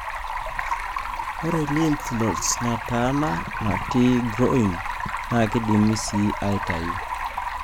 ore lymph nodes nataana nati groin na kindimi c aitayu.